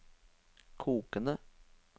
kokende